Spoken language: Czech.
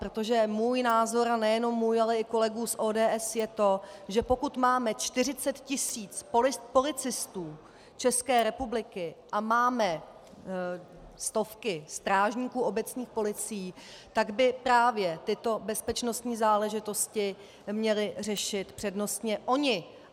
Protože můj názor, ale nejenom můj, ale i kolegů z ODS, je to, že pokud máme 40 tis. policistů České republiky a máme stovky strážníků obecních policií, tak by právě tyto bezpečnostní záležitosti měli řešit přednostně oni.